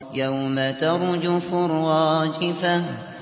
يَوْمَ تَرْجُفُ الرَّاجِفَةُ